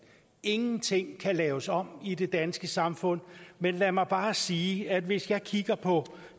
ingenting kan laves om i det danske samfund men lad mig bare sige at hvis jeg kigger på